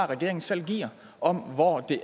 regeringen selv giver om hvor det